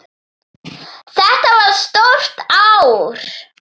Þetta var stórt ár.